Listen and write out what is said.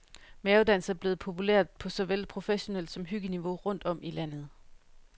Mavedans er blevet populært på såvel professionelt som hyggeniveau rundt om i landet.